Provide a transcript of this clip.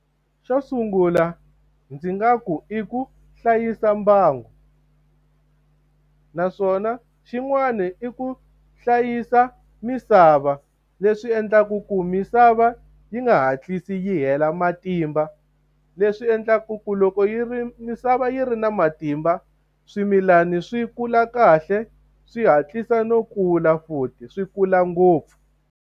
Xo sungula ndzi nga ku i ku hlayisa mbangu. Naswona xin'wana i ku hlayisa misava leswi endlaku ku misava yi nga hatlisi yi hela matimba. Leswi endlaku ku loko yi ri misava yi ri na matimba, swimilana swi kula kahle swi hatlisa no kula, futhi swi kula ngopfu.